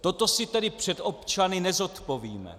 Toto si tedy před občany nezodpovíme.